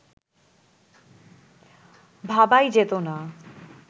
ভাবাই যেত না